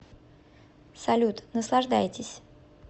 салют наслаждайтесь